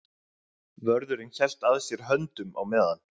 Vörðurinn hélt að sér höndum á meðan